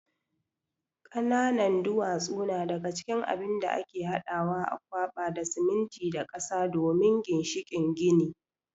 ƙananan duwatsu na daga cikin abin da ake hadawa a kwaɓa da siminti da ƙasa don ginshikin gini.